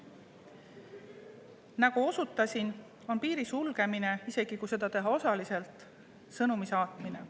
Nagu osutasin, on piiri sulgemine, isegi kui seda teha osaliselt, sõnumi saatmine.